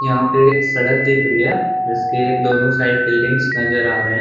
यहाँ पे सड़क दिख रही है जिसके दोनों साइड बिल्डिंग्स नज़र आ रहे हैं।